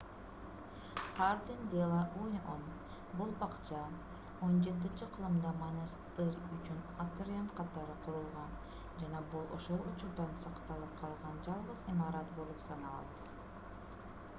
хардин-де-ла-уньон бул бакча 17-кылымда монастырь үчүн атриум катары курулган жана бул ошол учурдан сакталып калган жалгыз имарат болуп саналат